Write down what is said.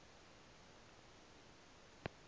french physicists